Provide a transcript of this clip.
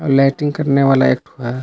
Latrine करने वाला एक है।